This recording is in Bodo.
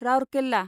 रौरकेला